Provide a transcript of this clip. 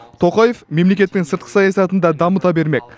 тоқаев мемлекеттің сыртқы саясатын да дамыта бермек